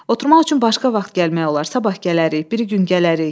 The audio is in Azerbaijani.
Oturmaq üçün başqa vaxt gəlmək olar, sabah gələrik, biri gün gələrik.